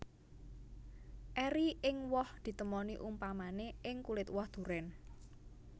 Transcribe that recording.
Eri ing woh ditemoni upamané ing kulit woh durèn